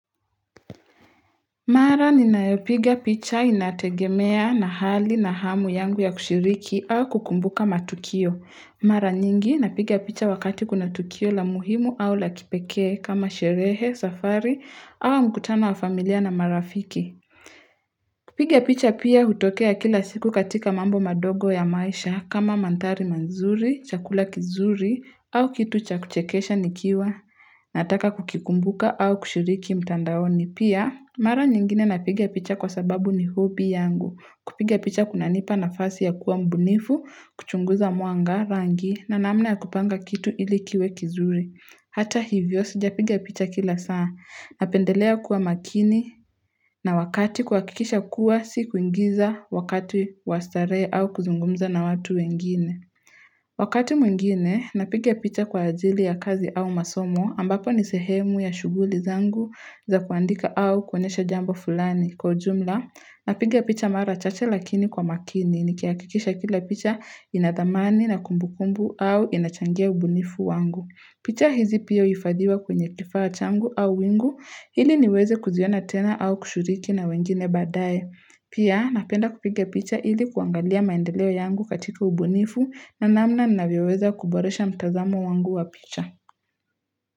Mara ninaepiga picha inategemea na hali na hamu yangu ya kushiriki au kukumbuka matukio. Mara nyingi napiga picha wakati kuna tukio la muhimu au la kipeke kama sherehe, safari au mkutana wa familia na marafiki. Kupiga picha pia hutokea kila siku katika mambo madogo ya maisha kama mantari manzuri, chakula kizuri au kitu cha kuchekesha nikiwa. Nataka kukukumbuka au kushiriki mtandaoni. Ni pia, mara nyingine napigia picha kwa sababu ni hobi yangu. Kupigia picha kuna nipa na fasi ya kuwa mbunifu, kuchunguza muanga, rangi, na naamna ya kupanga kitu ilikiwe kizuri. Hata hivyo, sijapigia picha kila saa. Napendelea kuwa makini, na wakati kwa kikisha kuwa, si kuingiza wakati wastare au kuzungumza na watu wengine. Wakati mwingine, napigia picha kwa ajili ya kazi au masomo ambapo nisehemu ya shuguli zangu za kuandika au kwenyesha jambo fulani. Kwa jumla, napigia picha mara chache lakini kwa makini ni kiakikisha kila picha inathamani na kumbukumbu au inachangia ubunifu wangu. Picha hizi pia uifadiwa kwenye kifawa changu au wingu hili niweze kuziona tena au kushuriki na wengine badaye. Pia napenda kupike picha hili kuangalia maendeleo yangu katika ubunifu na namna ninaweweza kuboresha mtazamo wangu wa picha.